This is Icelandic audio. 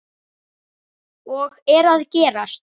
Og eru að gerast.